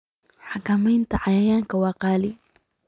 Xakamaynta cayayaanka waa qaali.